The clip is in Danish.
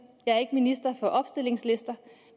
jeg er ikke minister for opstillingslister